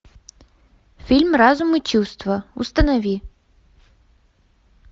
фильм разум и чувства установи